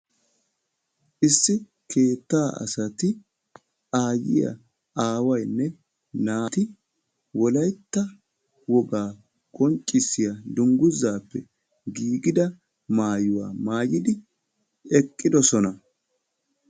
Issi keettaa asati aayyiya, aawaynne naati wolaytta wogaa qonccissiya dungguzaappe giigida maayuwa maayidi eqqidosona.